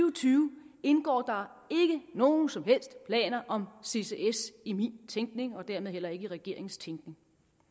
og tyve indgår der ikke nogen som helst planer om ccs i min tænkning og dermed heller ikke i regeringens tænkning